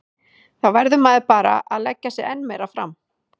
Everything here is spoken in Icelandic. Þá verður maður bara að leggja sig enn meira fram.